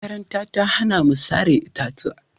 Makaranta ta hana mu sare itatuwa